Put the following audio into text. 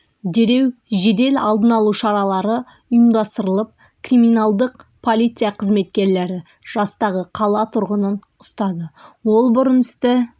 дереу жедел алдын алу шаралары ұйымдастырылып криминалдық полиция қызметкерлері жастағы қала тұрғынын ұстады ол бұрын істі